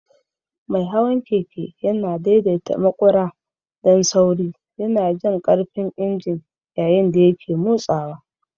Mai hawan keke yana daidaita maƙura don sauri, yana jin ƙarfin injin yayin da yake motsawa.